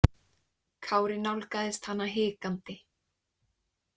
Kári nálgaðist hana hikandi.